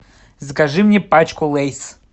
закажи мне пачку лейс